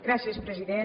gràcies president